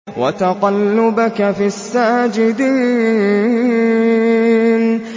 وَتَقَلُّبَكَ فِي السَّاجِدِينَ